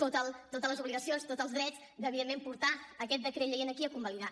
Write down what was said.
totes les obligacions tots els drets de evidentment portar aquest decret llei aquí a convalidar